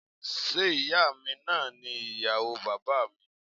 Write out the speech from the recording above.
Ṣé ìyáa mi náà ni ìyàwó bàbáà mi?